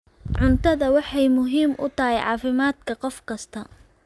Cuntadu waxay muhiim u tahay caafimaadka qof kasta.